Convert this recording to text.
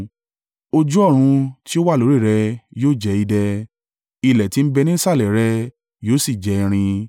Ojú ọ̀run tí ó wà lórí rẹ yóò jẹ́ idẹ, ilẹ̀ tí ń bẹ níṣàlẹ̀ rẹ yóò sì jẹ́ irin.